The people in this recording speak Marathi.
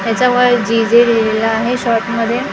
याच्यावर जी_जे लिहलेलं आहे शॉर्ट मध्ये--